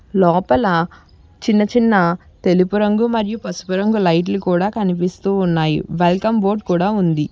లోపల చిన్నచిన్న తెలుపు రంగు మరియు పసుపు రంగు లైట్ లు కూడా కనిపిస్తూ ఉన్నాయి వెల్కమ్ బోర్డు కూడా ఉంది.